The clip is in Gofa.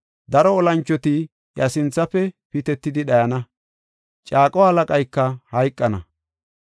Daro olanchoti iya sinthafe pitetidi dhayana; caaqo halaqayka hayqana.